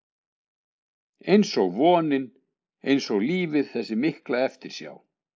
einsog vonin, einsog lífið- þessi mikla eftirsjá.